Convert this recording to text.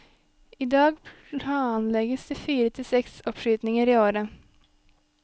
I dag planlegges det fire til seks oppskytinger i året.